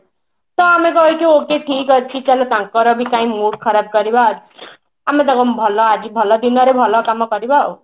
ତ ଆମେ କହିଛୁ okay ଠିକ ଅଛି ତ ତାଙ୍କର ବି କାଇଁ mood ଖରାପ କରିବା ଆଜି ଭଲ ଦିନରେ ଭଲ କାମ କରିବା